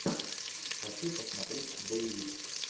хочу посмотреть боевик